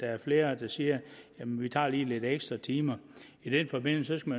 er flere der siger jamen vi tager lige lidt ekstra timer i den forbindelse skal